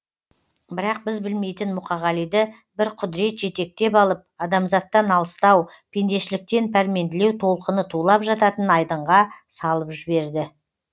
бірақ біз білмейтін мұқағалиды бір құдірет жетектеп алып адамзаттан алыстау пендешіліктен пәрменділеу толқыны тулап жататын айдынға салып жіберді